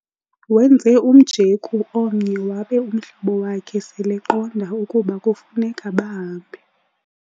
Wenze umjeku omnye wabe umhlobo wakhe seleqonda ukuba kufuneka bahambe.